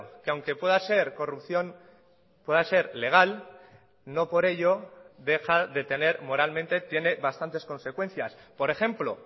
que aunque pueda ser corrupción pueda ser legal no por ello deja de tener moralmente tiene bastantes consecuencias por ejemplo